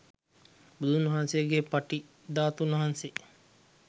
බුදුන් වහන්සේගේ පටි ධාතුන් වහන්සේ